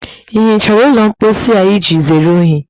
Ị hichara ụlọ mposi a iji zere unyi?